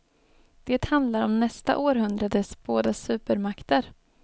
Det handlar om nästa århundrades båda supermakter.